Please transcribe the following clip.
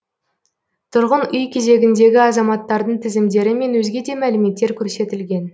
тұрғын үй кезегіндегі азаматтардың тізімдері мен өзге де мәліметтер көрсетілген